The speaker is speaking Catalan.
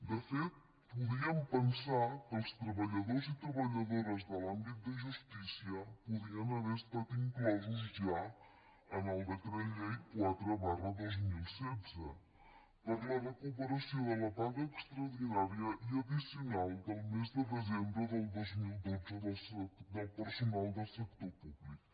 de fet podíem pensar que els treballadors i treballadores de l’àmbit de justícia podien haver estat inclosos ja en el decret llei quatre dos mil setze per a la recuperació de la paga extraordinària i addicional del mes de desembre del dos mil dotze del personal del sector públic